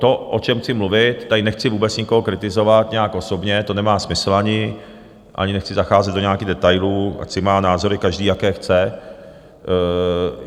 To, o čem chci mluvit, tady nechci vůbec nikoho kritizovat nějak osobně, to nemá ani smysl, ani nechci zacházet do nějakých detailů, ať si má názory každý, jaké chce.